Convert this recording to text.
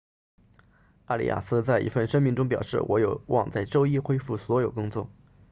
阿里亚斯 arias 在一份声明中表示我有望在周一恢复所有工作